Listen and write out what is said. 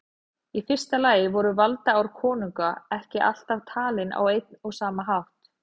Í fyrsta lagi voru valdaár konunga ekki alltaf talin á einn og sama hátt.